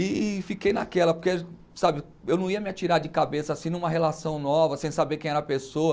E fiquei naquela, porque, sabe, eu não ia me atirar de cabeça assim numa relação nova, sem saber quem era a pessoa.